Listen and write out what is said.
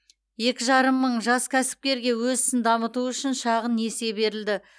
екі жарым мың жас кәсіпкерге өз ісін дамыту үшін шағын несие берілді